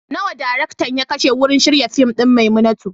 Nawa daraktan ya kashe wurin shirya fim ɗin "Maimunatu"?